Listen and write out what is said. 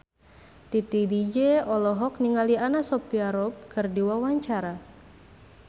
Titi DJ olohok ningali Anna Sophia Robb keur diwawancara